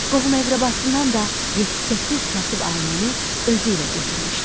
Qohum-əqrəbasından da 7-8 kasıb ailəni özü ilə götürmüşdü.